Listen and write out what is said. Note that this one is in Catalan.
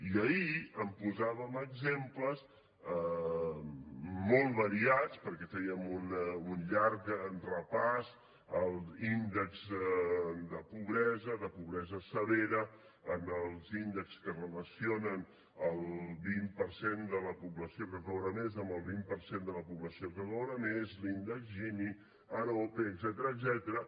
i ahir en posàvem exemples molt variats perquè fèiem un llarg repàs de l’índex de pobresa de pobresa severa en els índexs que relacionen el vint per cent de la població que cobra més amb el vint per cent de la població que cobra menys l’índex gini arope etcètera